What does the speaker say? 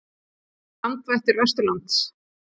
Hver er landvættur vesturlands?